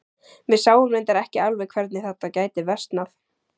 Við sáum reyndar ekki alveg hvernig þetta gæti versnað.